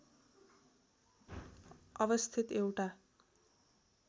अवस्थित एउटा